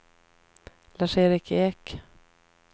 Lars-Erik Ek